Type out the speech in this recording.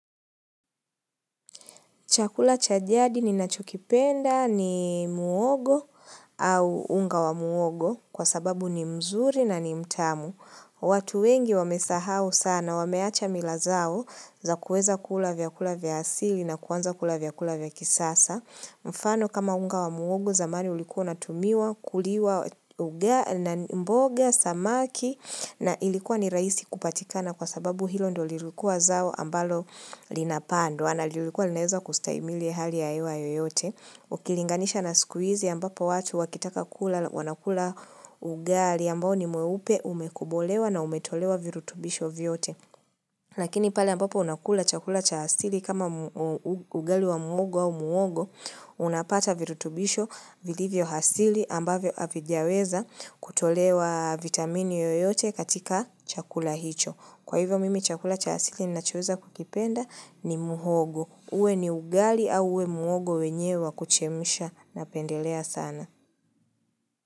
Chakula cha jadi ninachokipenda ni muhogo au unga wa muhogo kwa sababu ni mzuri na ni mtamu. Watu wengi wamesahau sana, wameacha mila zao za kuweza kula vyakula vya asili na kuanza kula vya kula vya kisasa. Mfano kama unga wa muhogo zamani ulikuwa unatumiwa, kuliwa, ugali na mboga, samaki na ilikuwa ni rahisi kupatikana kwa sababu hilo ndo lilikuwa zao ambalo linapandwa. Chakula cha asili ni ninachoweza kukipenda ni muhogo. Uwe ni ugali au uwe muhogo wenyewe wa kuchemsha napendelea sana.